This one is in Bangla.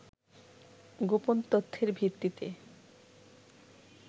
গোপন তথ্যের ভিত্তিতে